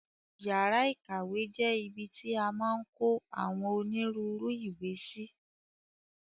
Yàrá ìkàwé jẹ́ ibi ti a maa n kó àwọn onírúurú ìwé sí.